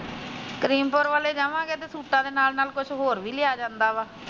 ਕਰੀਮਪੂਰੇ ਵੱਲ ਜਾਮਾਗੇ ਤਾ ਸੂਟਾ ਦੇ ਨਾਲ ਕੁਛ ਹੋਰ ਵੀ ਲਿਆ ਜਾਂਦਾ ਵਾ।